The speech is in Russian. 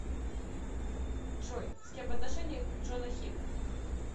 джой с кем в отношениях джона хилл